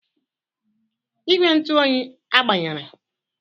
Igwe ntụ oyi agbanyere?